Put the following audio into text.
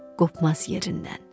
Qopmaz yerindən.